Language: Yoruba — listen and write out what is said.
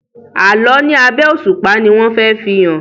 Àlọ ní abé òṣùpá ní wón fè fihàn.